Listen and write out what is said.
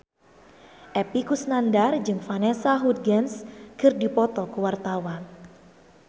Epy Kusnandar jeung Vanessa Hudgens keur dipoto ku wartawan